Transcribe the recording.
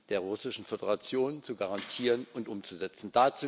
der Russischen Föderation zu garantieren und umzusetzen.